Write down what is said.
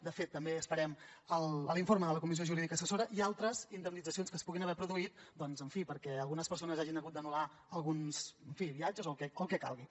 de fet també esperem l’informe de la comissió jurídica assessora i altres indemnitzacions que es puguin haver produït perquè algunes persones hagin hagut d’anul·lar alguns viatges o el que calgui